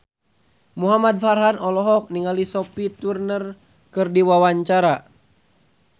Muhamad Farhan olohok ningali Sophie Turner keur diwawancara